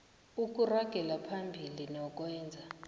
ukuragela phambili nokwenza